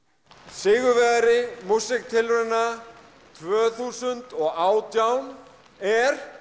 sigurvegari músíktilrauna tvö þúsund og átján er